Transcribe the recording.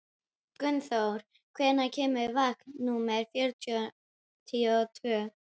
Gunnþóra, hvenær kemur vagn númer fjörutíu og tvö?